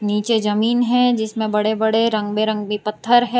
नीचे जमीन है जिसमें बड़े बड़े पत्थर है।